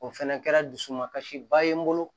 O fɛnɛ kɛra dusu man kasi ba ye n bolo